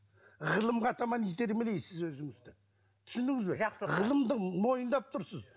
ғылымға таман итермелейсіз өзіңізді түсіндіңіз бе жақсы ғылымды мойындап тұрсыз